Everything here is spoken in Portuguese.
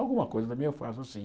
Alguma coisa também eu faço assim.